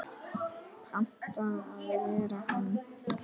Panta að vera hann.